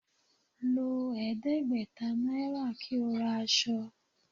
Lo ẹdẹgbẹta naira ki o ra asọ